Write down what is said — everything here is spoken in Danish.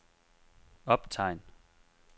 optegn